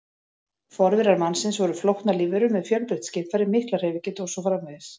Forverar mannsins voru flóknar lífverur með fjölbreytt skynfæri, mikla hreyfigetu og svo framvegis.